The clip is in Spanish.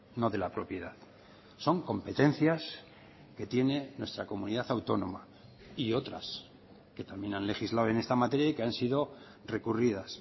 no de la propiedad son competencias que tiene nuestra comunidad autónoma y otras que también han legislado en esta materia y que han sido recurridas